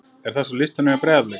er þessi á listanum hjá Breiðablik?